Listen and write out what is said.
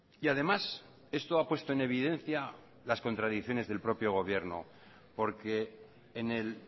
y además esto ha puesto en evidencia las contradicciones del propio gobierno porque en el